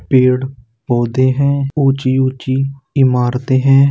पेड़ पौधे है ऊंची-ऊंची इमारतें हैं।